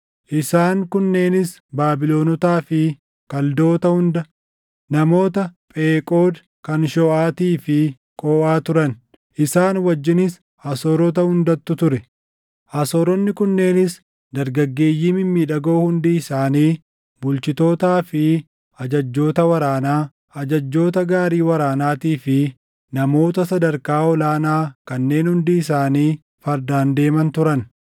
Isaan kunneenis Baabilonotaa fi Kaldoota hunda, namoota Pheqood kan Shooʼaatii fi Qoʼaa turan; isaan wajjinis Asoorota hundattu ture; Asooronni kunneenis dargaggeeyyii mimmiidhagoo hundi isaanii bulchitootaa fi ajajjoota waraanaa, ajajjoota gaarii waraanaatii fi namoota sadarkaa ol aanaa kanneen hundi isaanii fardaan deeman turan.